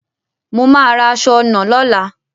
Mo màá ra aṣọ ọnà lóla